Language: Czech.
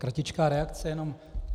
Kratičká reakce jenom.